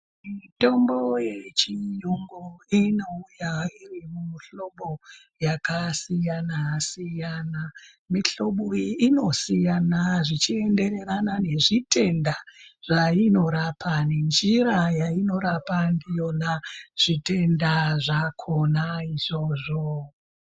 Mitombo yechiyungu inouya iri mumihlobo yakasiyana-siyana. Mihlobo iyi inosiyana zvichienderana nezvitenda zvainorapa, nenjira yainorapa ndiyona zvitenda zvakonazvo.